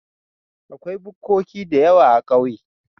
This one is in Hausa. Akwai bukkoki dayawa a ƙauye